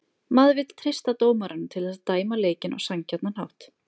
Maður vill treysta dómaranum til þess að dæma leikinn á sanngjarnan hátt